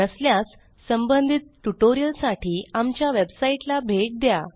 नसल्यास संबंधित ट्युटोरियलसाठी आमच्या वेबसाईटला भेट द्या